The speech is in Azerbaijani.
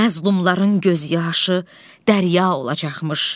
Məzlumların göz yaşı dərya olacaqmış.